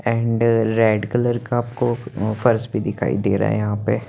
and red colour का कोप अ पर्स भी दिखाई दे रहा हे यहाँ पे --